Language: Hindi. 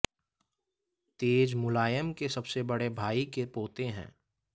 तेज मुलायम के सबसे बड़े भाई के पोते हैं